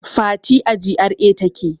Fati a GRA take